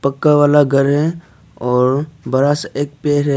पक्का वाला घर है और बड़ा सा एक पेड़ है।